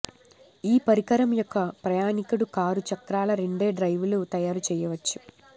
ఈ పరికరం ఒక ప్రయాణీకుడు కారు చక్రాలు రెండే డ్రైవులు తయారు చేయవచ్చు